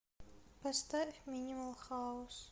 поставь минимал хаус